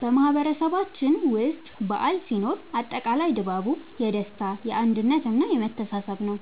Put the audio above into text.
በማህበረሰባችን ውስጥ በዓል ሲኖር አጠቃላይ ድባቡ የደስታ፣ የአንድነት እና የመተሳሰብ ነዉ።